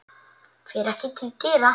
Fer ekki til dyra.